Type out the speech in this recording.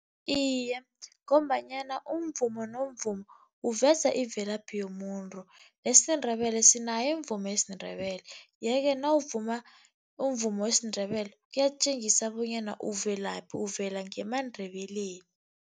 Iye, ngombanyana umvumo nomvumo uveza imvelaphi yomuntu, nesiNdebele sinaye umvumi wesiNdebele. Ye-ke nawuvuma umvumo wesinNdebele, kuyatjengisa bonyana uvelaphi uvela ngemaNdebeleni.